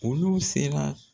Olu sera